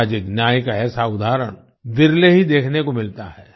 सामाजिक न्याय का ऐसा उदाहरण विरले ही देखने को मिलता है